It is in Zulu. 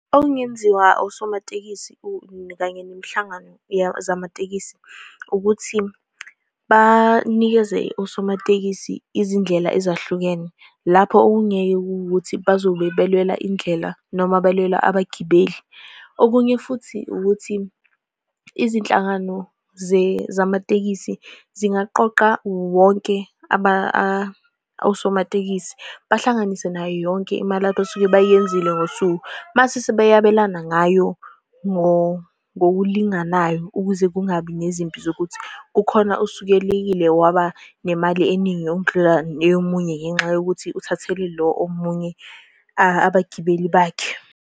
Okungenziwa osomatekisi kanye nemihlangano zamatekisi ukuthi banikeze osomatekisi izindlela ezahlukene, lapho okungeke kuwukuthi bazobe belwela indlela, noma belwela abagibeli. Okunye futhi, ukuthi izinhlangano zamatekisi zingaqoqa wonke abanye osomatekisi, bahlanganise yonke imali abasuke beyenzile ngosuku, mase sebeyabelana ngayo ngokulinganayo, ukuze kungabi nezimpi zokuthi kukhona osukelile waba nemali eningi okudlula eyomunye, ngenxa yokuthi uthathele lo omunye abagibeli bakhe.